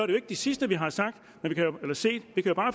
det sidste vi har set vi kan